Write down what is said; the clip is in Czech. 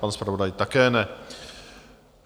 Pan zpravodaj také ne.